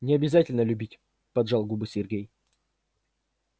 не обязательно любить поджал губы сергей